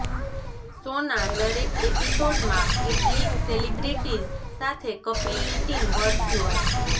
શોના દરેક એપિસોડમાં કેટલીક સેલિબ્રિટીઝ સાથે કપિલની ટીમ વર્ચ્યુઅલ